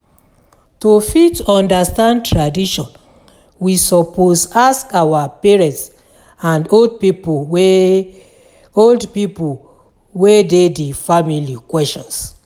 To fit understand tradition we suppose ask our parents and old pipo wey old pipo wey de di family questions